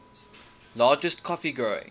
largest coffee growing